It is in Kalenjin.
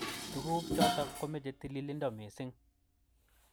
Tukuk jotok komeche tililindo missing.